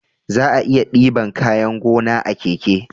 Za'a iya diban kayan gona a keke